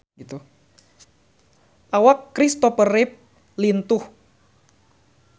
Awak Christopher Reeve lintuh